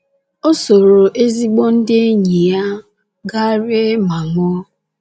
O sooro ezigbo ndị enyi ya gaa rie ma ṅụọ.